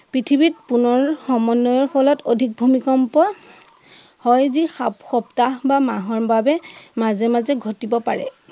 পৃথিৱীত পুনৰ সমন্য়য়ৰ ফলত অধিক ভূমিকম্প সপ্তাহ বা মাহৰ বাবে মাজে মাজে ঘটিব পাৰে.